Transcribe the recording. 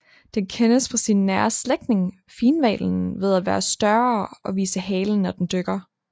Den kendes fra sin nære slægtning finhvalen ved at være større og vise halen når den dykker